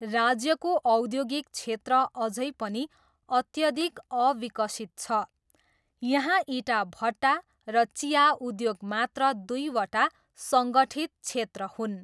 राज्यको औद्योगिक क्षेत्र अझै पनि अत्यधिक अविकसित छ, यहाँ इँटाभट्टा र चिया उद्योग मात्र दुईवटा सङ्गठित क्षेत्र हुन्।